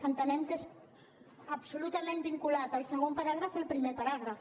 entenem que és absolutament vinculat el segon paràgraf al primer paràgraf